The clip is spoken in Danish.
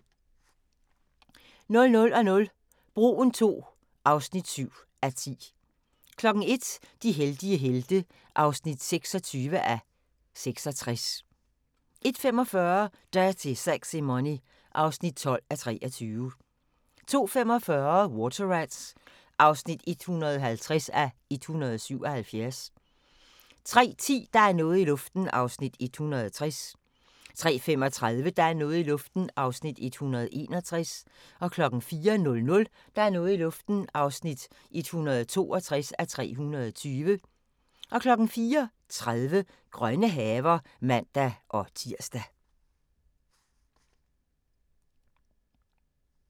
00:00: Broen II (7:10) 01:00: De heldige helte (26:66) 01:45: Dirty Sexy Money (12:23) 02:25: Water Rats (150:177) 03:10: Der er noget i luften (160:320) 03:35: Der er noget i luften (161:320) 04:00: Der er noget i luften (162:320) 04:30: Grønne haver (man-tir)